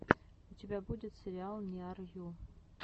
у тебя будет сериал ниар ю